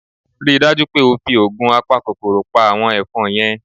Rí i dájú pé o fi oògun apakòkòrò pa àwọn ẹ̀fọn yẹn!